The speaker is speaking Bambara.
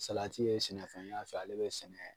Salati ye sɛnɛfɛn yan fɛ ale bi sɛnɛ